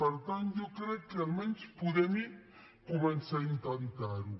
per tant jo crec que almenys podem començar a intentar ho